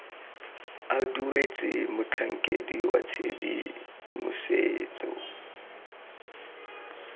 a duetswe motlhankedi wa tshedimosetso